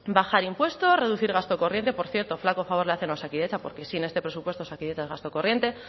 bajar impuestos reducir gasto corriente por cierto flaco favor le hacen a osakidetza porque sin este presupuesto osakidetza es gasto corriente